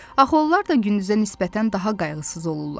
Axı onlar da gündüzə nisbətən daha qayğısız olurlar.